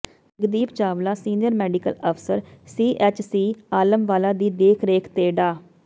Jagdeep Chawla senior medical ਅਫਸਰ CHC Alamwala ਦੀ ਦੇਖ ਰੇਖ ਤੇ ਡਾ